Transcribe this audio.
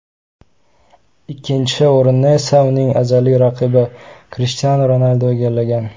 Ikkinchi o‘rinni esa, uning azaliy raqibi Krishtianu Ronaldu egallagan.